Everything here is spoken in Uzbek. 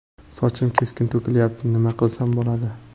Sochim keskin to‘kilyapti, nima qilsam bo‘ladi?